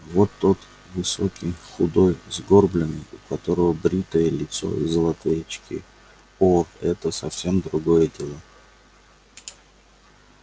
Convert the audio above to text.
вот тот высокий худой сгорбленный у которого бритое лицо и золотые очки о это совсем другое дело